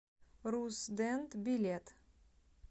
руссдент билет